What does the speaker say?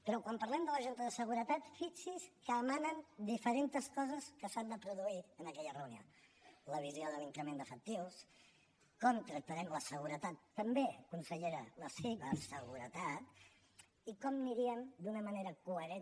però quan parlem de la junta de seguretat fixi’s que emanen diferents coses que s’han de produir en aquella reunió la visió de l’increment d’efectius com tractarem la seguretat també consellera la ciberseguretat i com aniríem d’una manera coherent